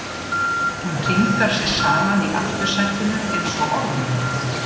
Hún hringar sig saman í aftursætinu einsog ormur.